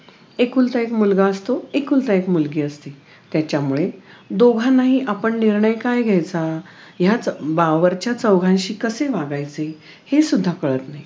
एकुलता एक मुलगा असतो एकुलती एक मुलगी असते त्याच्यामुळे दोघांनाही आपण निर्णय काय घ्यायचा ह्यात बावरच्या चौघांशी कसे वागायचे हे सुद्धा काळात नाही